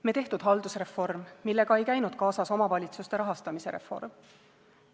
Me tehtud haldusreform, millega ei käinud kaasas omavalitsuste rahastamise reform.